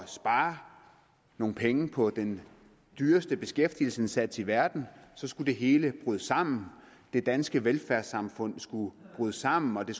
spare nogle penge på den dyreste beskæftigelsesindsats i verden så skulle det hele bryde sammen det danske velfærdssamfund skulle bryde sammen og det